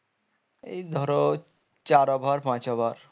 এই ধরো চার over পাঁচ over